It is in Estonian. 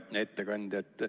Hea ettekandja!